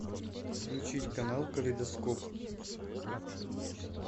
включить канал калейдоскоп